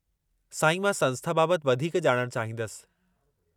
साईं, मां संस्था बाबति वधीक ॼाणणु चाहींदसि।